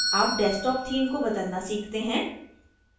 अब desktop theme को बदलना सीखते हैं